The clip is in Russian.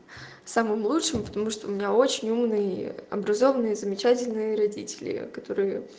самым лучшим потому что у меня очень умный образованный замечательные родители которые